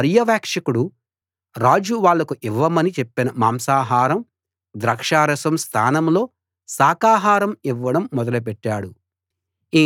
ఆ పర్యవేక్షకుడు రాజు వాళ్లకు ఇవ్వమని చెప్పిన మాంసాహారం ద్రాక్షారసం స్థానంలో శాకాహారం ఇవ్వడం మొదలుపెట్టాడు